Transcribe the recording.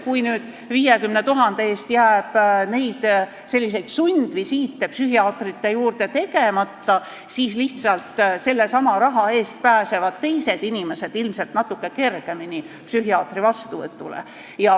Kui nüüd 50 000 eest jääb selliseid sundvisiite psühhiaatrite juurde tegemata, siis lihtsalt sellesama raha eest pääsevad teised inimesed ilmselt natuke kergemini psühhiaatri vastuvõtule.